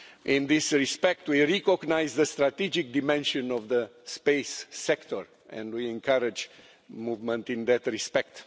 In this respect, we recognise the strategic dimension of the space sector, and we encourage movement in that respect.